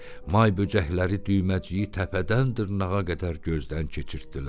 May böcəkləri Düyməciyi təpədən dırnağa qədər gözdən keçirtdilər.